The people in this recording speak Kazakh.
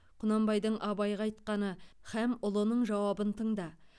құнанбайдың абайға айтқаны һәм ұлының жауабын тыңда